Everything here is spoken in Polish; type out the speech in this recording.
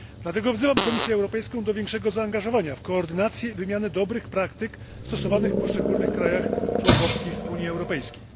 Dlatego wzywam Komisję Europejską do większego zaangażowania w koordynację i wymianę dobrych praktyk stosowanych w poszczególnych krajach członkowskich Unii Europejskiej.